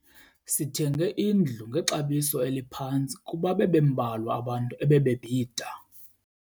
Sithenge indlu ngexabiso eliphantsi kuba bebembalwa abantu ebebebhida.